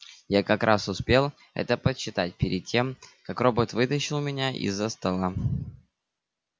я как раз успел это подсчитать перед тем как робот вытащил меня из-за стола